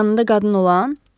Yanında qadın olan?